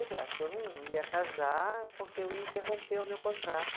Eu não ia casar porque eu ia interromper o meu contrato.